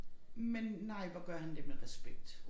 Men nej hvor gør han det med respekt